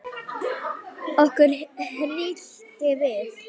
Okkur hryllti við.